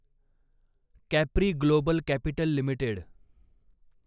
Capri Global Capital limited